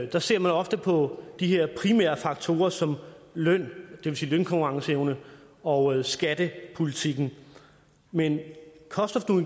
der ser man ofte på de her primære faktorer som løn vil sige lønkonkurrenceevne og skattepolitikken men cost